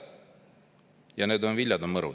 Ja need viljad on mõrud.